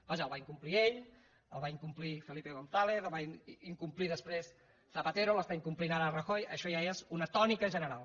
vaja el va incomplir ell el va incomplir felipe gonzález el va incomplir després zapatero l’està incomplint ara rajoy això ja és una tònica general